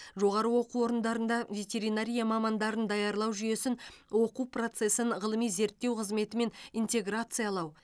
жоғары оқу орындарында ветеринария мамандарын даярлау жүйесін оқу процесін ғылыми зерттеу қызметімен интеграциялау